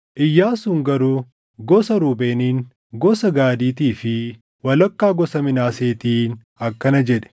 Iyyaasuun garuu gosa Ruubeeniin, gosa Gaadiitii fi walakkaa gosa Minaaseetiin akkana jedhe: